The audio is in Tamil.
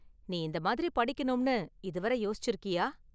நீ இந்த​ மாதிரி படிக்கணும்னு இதுவரை யோசிச்சிருக்கியா?